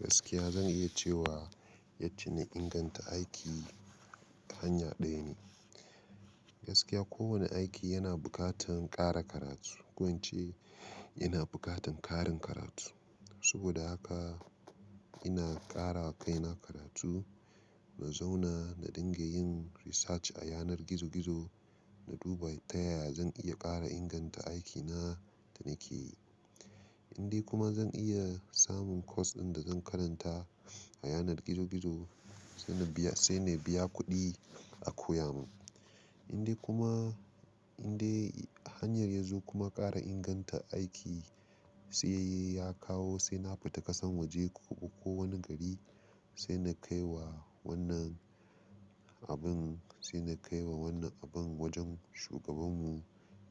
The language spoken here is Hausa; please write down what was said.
Gaskiya zan iya cewa yacce na inganta aiki hanya ɗaya ne. Gaskiya kowane aiki yana buƙatan ƙara karatu. Ko ince ina buƙatan ƙarin karatu. Saboda haka ina ƙarawa kaina karatu, na zauna na dinga yin research a yanar gizo-gizo, na duba ta yaya zan iya ƙara inganta aikina da nake yi. Indai kuma zan iya samun course ɗin da zan karanta a yanar gizo-gizo sai na biya, sai na biya kuɗi a koya mun. Indai kuma, indai hanyar yazo kuma ƙara inganta aiki sai ya kawo sai na fita ƙasan waje ko, ko wani gari sai na kai wa wannan abun, sai na kai wa wannan abun wajen shugabanmu